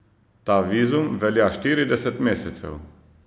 Ta vizum velja štirideset mesecev.